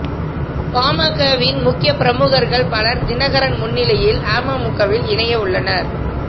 பாமகவின் முக்கிய பிரமுகர்கள் பலர் தினகரன் முன்னிலையில் அமமுகவில் இணைய உள்ளனர்